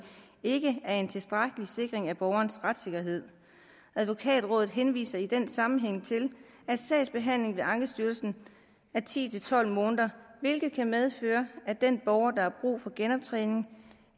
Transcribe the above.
ikke er en tilstrækkelig sikring af borgerens retssikkerhed advokatrådet henviser i den sammenhæng til at sagsbehandlingen ved ankestyrelsen tager ti til tolv måneder hvilket kan medføre at den borger der har brug for genoptræning